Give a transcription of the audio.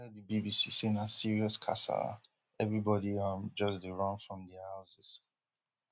e tell di bbc say na serious kasala everibodi um just dey run from dia houses